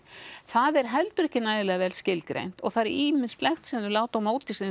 það er heldur ekki nægilega vel skilgreint og það er ýmislegt sem þau láta á móti sér